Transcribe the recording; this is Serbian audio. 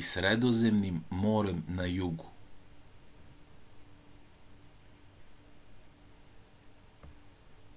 i sredozemnim morem na jugu